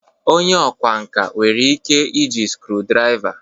Onye ọkwá nkà nwere ike iji screw driva